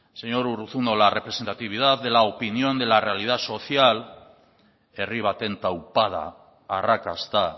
señor urruzuno la representatividad de la opinión de la realidad social herri baten taupada arrakasta